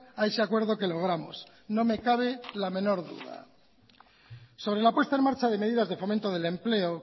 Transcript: a ese acuerdo que logramos no me cabe la menor duda sobre la puesta en marcha de medidas de fomento del empleo